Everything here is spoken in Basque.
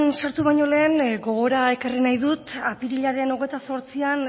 sartu baino lehen gogora ekarri nahi dut apirilaren hogeita zortzian